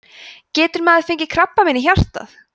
getur maður fengið krabbamein í hjartað